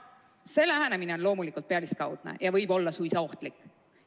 See lähenemine on loomulikult pealiskaudne ja võib olla suisa ohtlik.